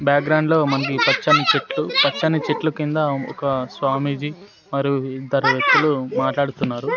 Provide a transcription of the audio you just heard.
Background లో మనకి పచ్చని చెట్లు పచ్చని చెట్లు కింద ఒక స్వామీజీ మరియు ఇద్దరు వ్యక్తులు మాట్లాడుతున్నారు.